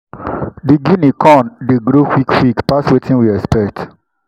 the guinea corn dey grow quick quick pass wetin we expect.